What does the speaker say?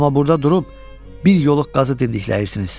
Amma burda durub bir yoluğ qazı dindiklənirsiniz.